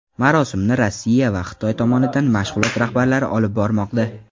Marosimni Rossiya va Xitoy tomonidan mashg‘ulot rahbarlari olib bormoqda.